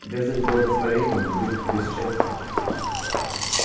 без их благословения не будет тебе счастия